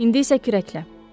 İndi isə kürəklə.